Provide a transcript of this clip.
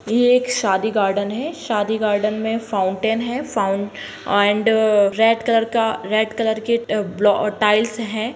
ये एक शादी गार्डन है शादी गार्डन में फाउंटेन है फाउन एंड रेड कलर का रेड कलर के ब्लॉ अ टाइल्स हैं।